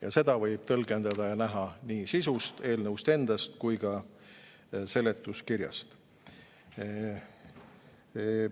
Ja seda võib näha nii eelnõu sisust endast kui ka seletuskirjast.